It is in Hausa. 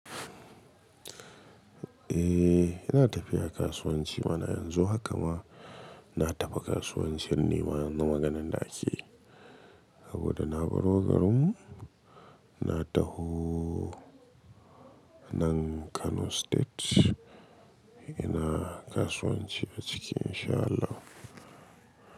Eh, ina tafiya kasuwanci bana yanzu haka ma na tafi kasuwancin nema yanzu maganir ake Saboda na baro garin na taho nan Kano State ina kasuwanci a ciki in sha Allah.